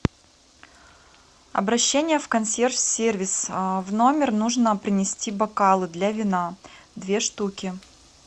обращение в консьерж сервис в номер нужно принести бокалы для вина две штуки